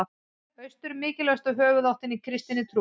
Austur er mikilvægasta höfuðáttin í kristinni trú.